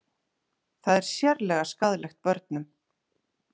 Það er sérlega skaðlegt börnum